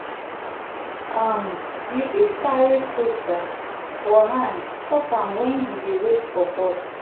um you fit carry fruit um for hand chop am wen you dey wait for bus.